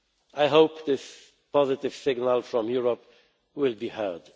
I hope this positive signal from Europe will be